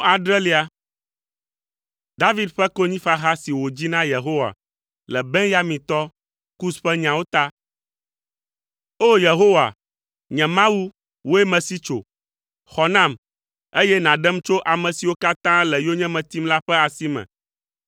David ƒe konyifaha si wòdzi na Yehowa le Benyamintɔ, Kus ƒe nyawo ta. O! Yehowa, nye Mawu, wòe mesi tso, xɔ nam, eye nàɖem tso ame siwo katã le yonyeme tim la ƒe asi me.